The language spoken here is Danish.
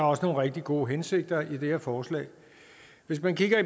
også nogle rigtig gode hensigter i det her forslag hvis man kigger